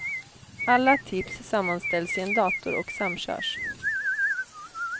Alla tips sammanställs i en dator och samkörs.